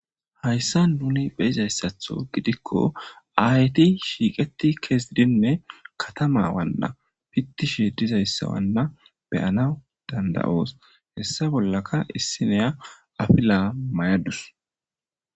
hayssa nuni beyizayssatho gidikko ayeti shiiqeti keesidinne katama wanna pittishi dizayssawanna beyana dandayoos hessa bollaka issineya afila mayadus